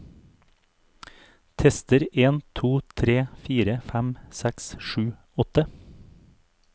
Tester en to tre fire fem seks sju åtte